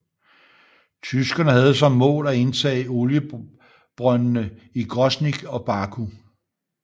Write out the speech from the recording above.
Tyskerne havde som mål at indtage oliebrøndende i Grosnyj og Baku